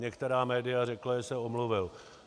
Některá média řekla, že se omluvil.